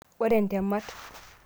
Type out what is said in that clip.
Ore ntemat